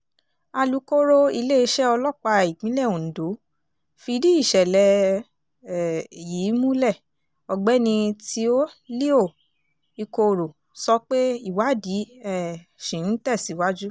alūkkóró iléeṣẹ́ ọlọ́pàá ìpínlẹ̀ ondo fìdí ìṣẹ̀lẹ̀ um yìí múlẹ̀ ọ̀gbẹ́ni teo leo ikorò sọ pé ìwádìí um ṣì ń tẹ̀síwájú